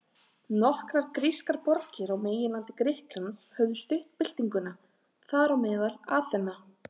Nokkrar grískar borgir á meginlandi Grikklands höfðu stutt byltinguna, þar á meðal Aþena.